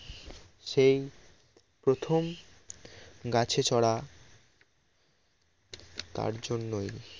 সেই প্রথম গাছে চড়া তার জন্যই